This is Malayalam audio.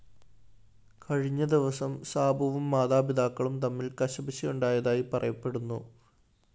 കഴിഞ്ഞ ദിവസം സാബുവും മാതാപിതാക്കളും തമ്മില്‍ കശപിശയുണ്ടായതായി പറയപ്പെടുന്നു